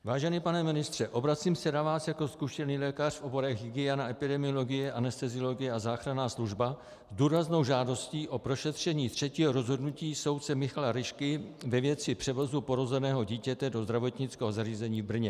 Vážený pane ministře, obracím se na vás jako zkušený lékař v oborech hygiena, epidemiologie, anesteziologie a záchranná služba s důraznou žádostí o prošetření třetího rozhodnutí soudce Michala Ryšky ve věci převozu porozeného dítěte do zdravotnického zařízení v Brně.